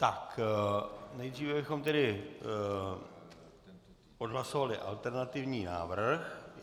Tak, nejdříve bychom tedy odhlasovali alternativní návrh.